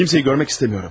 Heç kimi görmək istəmirəm.